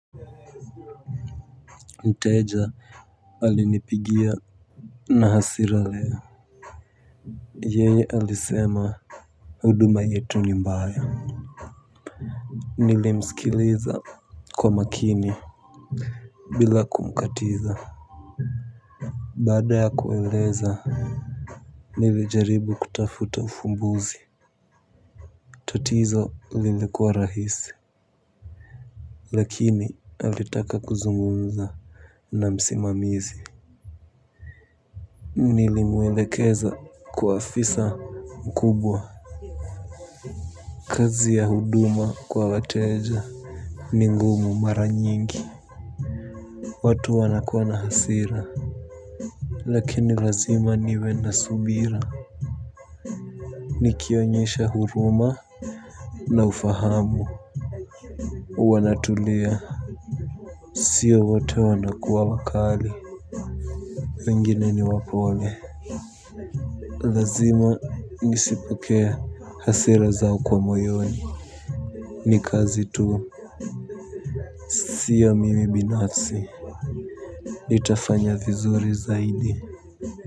Mteja alinipigia na hasira leo. Yeye alisema. Huduma yetu ni mbaya nilimsikiliza kwa umakini bila kumkatiza. Baada ya kueleza nilijaribu kutafuta ufumbuzi. Tatizo lilikuwa rahisi. Lakini alitaka kuzungumza na msimamizi. Nilimwelekeza kwa afisa mkubwa. Kazi ya huduma kwa wateja ni ngumu mara nyingi. Watu wanakuwa na hasira. Lakini lazima niwe na subira. Nikionyesha huruma na ufahamu. Wanatulia. Sio wote wanakuwa wakali wengine ni wapole lazima nizipokee hasira zao kwa moyoni. Ni kazi tu. Sio mimi binafsi nitafanya vizuri zaidi.